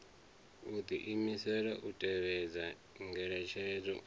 u diimisela u tevhedza ngeletshedzo